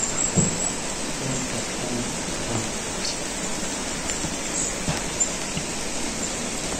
точка н а